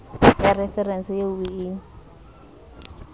ya referense eo o e